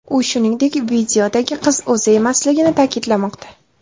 U, shuningdek, videodagi qiz o‘zi emasligini ta’kidlamoqda .